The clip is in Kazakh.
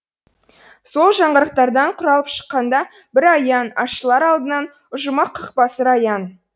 сол жаңғырықтардан құралып шыққанда бір аян ашылар алдыңнан ұжымақ қақпасы раян